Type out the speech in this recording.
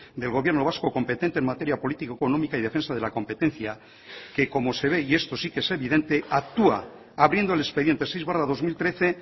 del gobierno vasco competente en materia política económica y defensa de la competencia que como se ve y esto sí que es evidente actúa abriendo el expediente seis barra dos mil trece